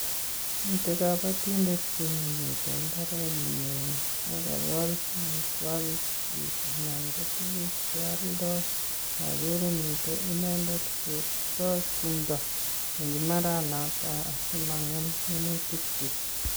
mitei kabatindet yu ne mite mbaret nyi ne kakol amitwakik nyik anan ko tuguk che alndai agere mitei inendet koistoi tumdo eng imbaret noto asimangem minutik chik